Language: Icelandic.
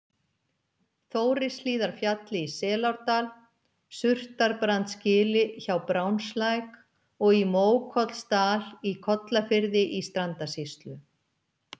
Þórishlíðarfjalli í Selárdal, Surtarbrandsgili hjá Brjánslæk og í Mókollsdal í Kollafirði í Strandasýslu.